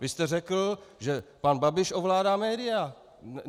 Vy jste řekl, že pan Babiš ovládá média.